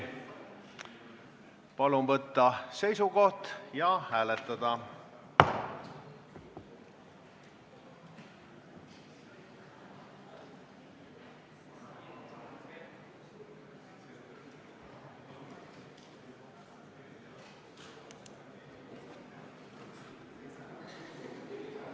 Palun võtta seisukoht ja hääletada!